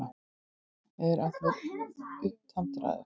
Ég var allur upptendraður.